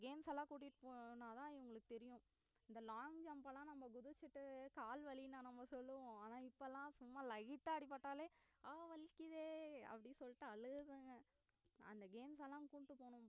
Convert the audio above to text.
games எல்லாம் கூட்டிட்டு போனாதான் இவங்களுக்கு தெரியும் இந்த long jump எல்லாம் நம்ம குதிச்சிட்டு கால் வலி நம்ம சொல்லுவோம் ஆனா இப்பலலாம் சும்மா light ஆ அடிபட்டாலே அஹ் வலிக்குதே அப்படி சொல்லிட்டு அலுகராங்க அந்த games லாம்